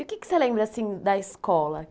E o que que você lembra assim da escola?